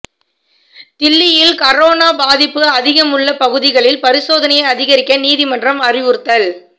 தில்லியில் கரோனா பாதிப்பு அதிகமுள்ள பகுதிகளில் பரிசோதனையை அதிகரிக்க நீதிமன்றம் அறிவுறுத்தல்